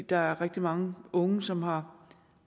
der er rigtig mange unge som har